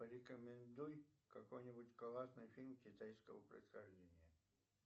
порекомендуй какой нибудь классный фильм китайского происхождения